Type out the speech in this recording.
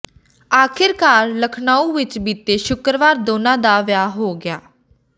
ਆਖ਼ਿਰਕਾਰ ਲਖਨਊ ਵਿੱਚ ਬੀਤੇ ਸ਼ੁੱਕਰਵਾਰ ਦੋਨਾਂ ਦਾ ਵਿਆਹ ਹੋ ਗਿਆ